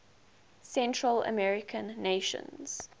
central american nations